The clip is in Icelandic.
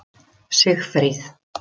Sigfríð